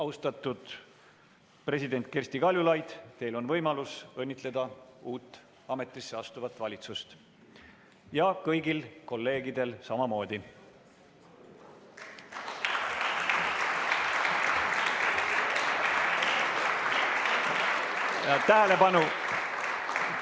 Austatud president Kersti Kaljulaid, teil on võimalus õnnitleda uut ametisse astuvat valitsust, ja kõigil kolleegidel samamoodi.